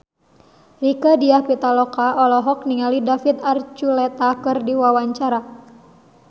Rieke Diah Pitaloka olohok ningali David Archuletta keur diwawancara